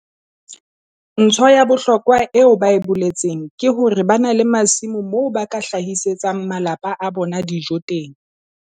Ntho ya bohlokwa eo ba e boletseng ke hore ba na le masimo moo ba ka hlahisetsang malapa a bona dijo teng.